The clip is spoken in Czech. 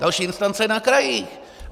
Další instance je na krajích.